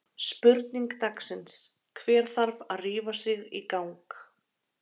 Spurning dagsins: Hver þarf að rífa sig í gang?